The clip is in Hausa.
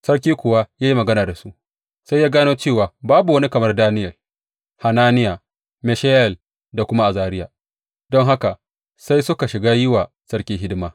Sarki kuwa ya yi magana da su, sai ya gano cewa babu wani kamar Daniyel, Hananiya, Mishayel da kuma Azariya; don haka sai suka shiga yi wa sarki hidima.